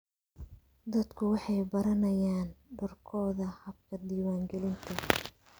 Dadku waxay baranayaan doorkooda habka diiwaangelinta.